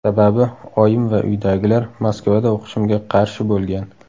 Sababi, oyim va uydagilar Moskvada o‘qishimga qarshi bo‘lgan.